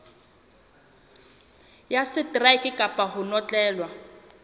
ya seteraeke kapa ho notlellwa